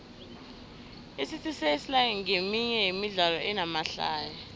icity sesla nqeminye yemidlalo enamahlaya